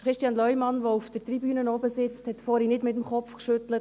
Christian Leumann, der auf der Tribüne sitzt, hat vorhin nicht den Kopf geschüttelt.